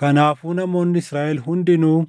Kanaafuu namoonni Israaʼel hundinuu